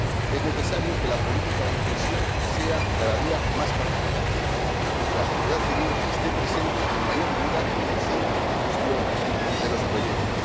Es necesario que la política de cohesión sea cada día más participativa y que la sociedad civil esté presente en mayor medida en el diseño y la gestión de los proyectos.